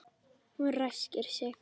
Hún ræskir sig.